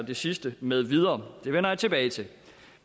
det sidste med videre det vender jeg tilbage til